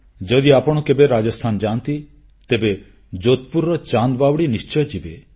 ଯଦି ଆପଣ କେବେ ରାଜସ୍ଥାନ ଯାଆନ୍ତି ତେବେ ଯୋଧପୁରର ଚାନ୍ଦ ବାୱଡ଼ି ନିଶ୍ଚୟ ଯିବେ